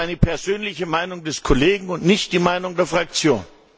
Das ist eine persönliche Meinung des Kollegen und nicht die Meinung der Fraktion!